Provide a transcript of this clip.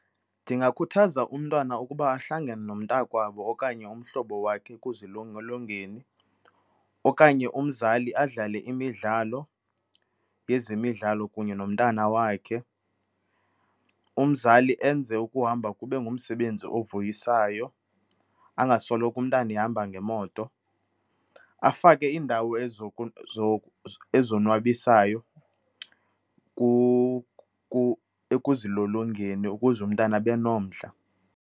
Ndingakhuthaza umntwana ukuba ahlangane nomntakwabo okanye umhlobo wakhe ekuzilolongeni okanye umzali adlale imidlalo yezemidlalo kunye nomntana wakhe. Umzali enze ukuhamba kube ngumsebenzi ovuyisayo, angasoloko umntana ehamba ngemoto. Afake iindawo ezonwabisayo ekuzilolongeni ukuze umntana abe nomdla.